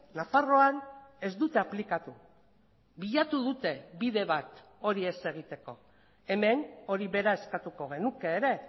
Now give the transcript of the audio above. nafarroan ez dute aplikatu bilatu dute bide bat hori ez egiteko hemen hori bera eskatuko genuke ere